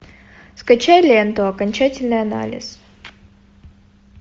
скачай ленту окончательный анализ